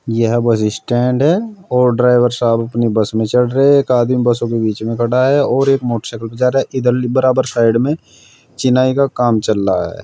यह bus stand है और ड्राइवर साहब अपनी बस में चढ़ रहे हैं एक आदमी बसों के बीच में खड़ा है और एक मोटरसाइकिल पे जा रहा है इधर बराबर साइड में चिनाई का काम चल रहा है।